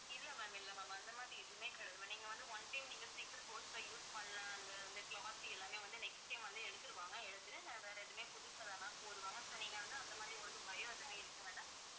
இல்லை ma'am இல்லை ma'am அந்த மாதிரி எதுவுமே கிடையாது ma'am நீங்க வந்து, one time நீங்க sleeper coach ல use பண்ண அந்த, அந்த cloth எல்லாமே வந்து next time வந்து எடுத்துருவாங்க எடுத்துட்டு வேற எதுவுமே புதுசாதான் ma'am போடுவாங்க. so நீங்க வந்து அந்த மாதிரி உங்களுக்கு பயம் எதுவுமே இருக்க வேண்டாம்.